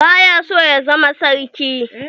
Ba ya so ya zama sarki.